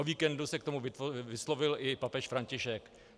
O víkendu se k tomu vyslovil i papež František.